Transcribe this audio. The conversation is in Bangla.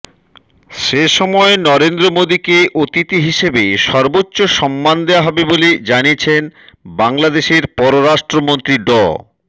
সেসময় নরেন্দ্র মোদিকে অতিথি হিসেবে সর্বোচ্চ সম্মান দেয়া হবে বলে জানিয়েছেন বাংলাদেশের পররাষ্ট্রমন্ত্রী ড